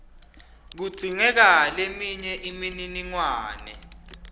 kudzingeka leminye imininingwane